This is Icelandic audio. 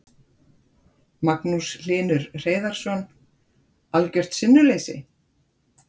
Magnús Hlynur Hreiðarsson: Algjört sinnuleysi?